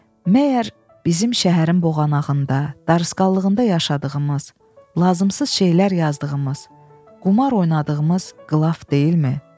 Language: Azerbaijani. Məgər bizim şəhərin boğanağında, darlıqında yaşadığımız, lazımsız şeylər yazdığımız, qumar oynadığımız qılaf deyilmi?